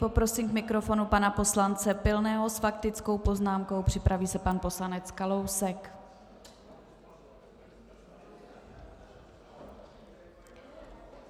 Poprosím k mikrofonu pana poslance Pilného s faktickou poznámkou, připraví se pan poslanec Kalousek.